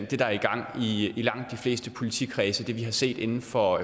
det der er i gang i langt de fleste politikredse altså det vi har set inden for